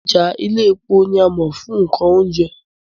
Ọjà Iléepo ni a mọ̀ fún nǹkan oúnjẹ